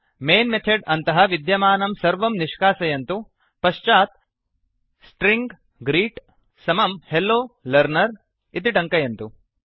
main method अन्तः विद्यमानं सर्वं निष्कासयन्तु पश्चात् स्ट्रिंग ग्रीट् स्ट्रिङ्ग् ग्रीट् समं हेल्लो लर्नर हलो लर्नर् इति टङ्कयन्तु